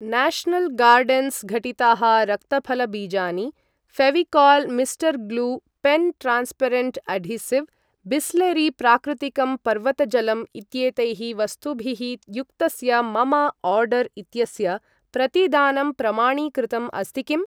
National gardens घटिताः रक्तफलबीजानि, Fevicol mister glue pen transparent adhesive, Bisleri प्राकृतिकं पर्वतजलम् इत्येतैः वस्तुभिः युक्तस्य मम आर्डर् इत्यस्य प्रतिदानं प्रमाणीकृतम् अस्ति किम्?